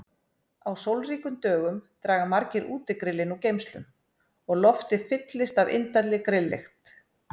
Á sólríkum dögum draga margir útigrillin úr geymslum og loftið fyllist af indælli grilllykt.